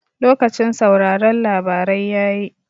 Lokacin sauraron labarai yayi